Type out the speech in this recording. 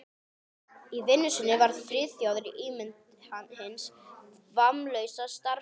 Í vinnu sinni var Friðþjófur ímynd hins vammlausa starfskrafts.